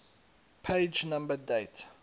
page number date